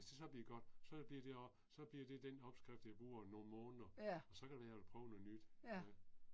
Hvis det så bliver godt, så bliver det også, så bliver det den opskrift jeg bruger nogle måneder, og så kan det være jeg vil prøve noget nyt øh